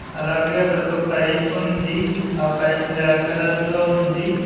అలాగే అక్కడొక పైప్ ఉంది ఆ పైప్ బ్లాక్ కలర్ లో ఉంది.